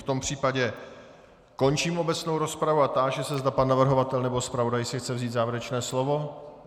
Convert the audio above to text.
V tom případě končím obecnou rozpravu a táži se, zda pan navrhovatel nebo zpravodaj si chce vzít závěrečné slovo.